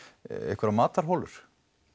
einhverjar matarholur